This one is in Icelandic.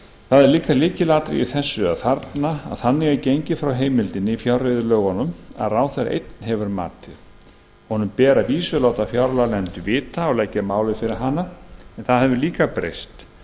það er líka lykilatriði í þessu að þannig er gengið frá heimildinni í fjárreiðulögunum að ráðherra einn hefur matið honum ber að vísu að láta fjárlaganefnd vita og leggja málið fyrir hana en það hefur líka breyst